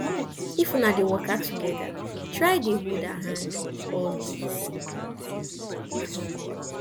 if una dey waka togeda try dey hold her hand always